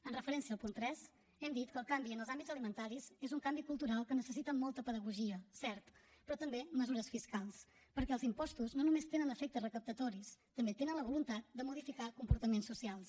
amb referència al punt tres hem dit que el canvi en els hàbits alimentaris és un canvi cultural que necessita molta pedagogia cert però també mesures fiscals perquè els impostos no només tenen efectes recaptatoris també tenen la voluntat de modificar comportaments socials